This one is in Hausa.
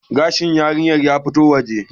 gashin yarinyar ya fito waje